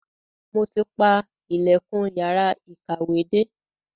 Mo ti pa ilẹ̀kùn yàrá ìkàwé dé.